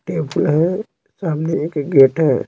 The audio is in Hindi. टेबल है गेट है।